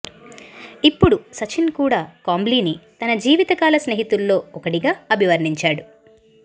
ఇప్పుడు సచిన్ కూడా కాంబ్లీని తన జీవితకాల స్నేహితుల్లో ఒకడిగా అభివర్ణించాడు